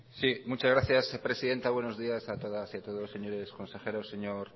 muchas gracias señora presidenta buenos días a todas y a todos señores consejeros señor